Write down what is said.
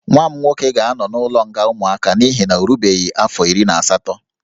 Nwa m nwoke ga-anọ n'ụlọ nga ụmụaka n'ihi na ọ erubeghị afọ iri na asatọ